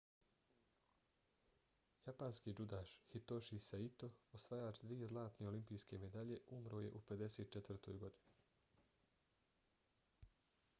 japanski džudaš hitoshi saito osvajač dvije zlatne olimpijske medalje umro je u 54. godini